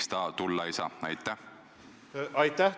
Seda eelkõige poliitilises retoorikas.